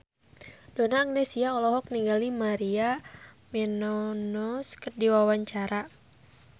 Donna Agnesia olohok ningali Maria Menounos keur diwawancara